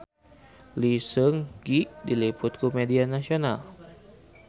Lee Seung Gi diliput ku media nasional